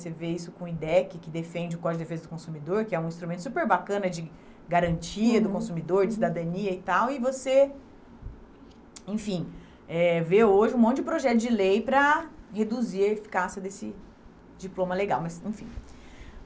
Você vê isso com o INDEC, que defende o Código de Defesa do Consumidor, que é um instrumento super bacana de garantia do consumidor, uhum, uhum, de cidadania e tal, e você, enfim, eh vê hoje um monte de projeto de lei para reduzir a eficácia desse diploma legal, mas, enfim.